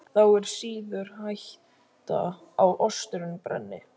Þá er síður hætta á osturinn brenni.